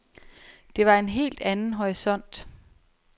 Det var en helt anden horisont.